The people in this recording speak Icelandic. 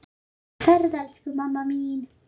Góða ferð, elsku mamma mín.